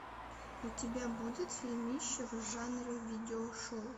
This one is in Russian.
у тебя будет фильмище в жанре видеошоу